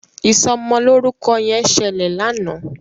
Ìsomo lórúko yen ṣẹlẹ lànà.